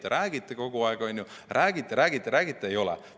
Te räägite kogu aeg, räägite-räägite-räägite, aga eelnõu ei ole.